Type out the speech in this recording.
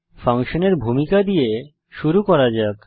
ফাংশনের ভূমিকা দিয়ে শুরু করা যাক